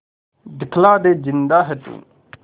दिखला दे जिंदा है तू